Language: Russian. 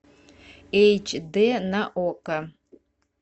эйч д на окко